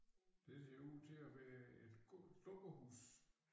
Det ser ud til at være et dukkehus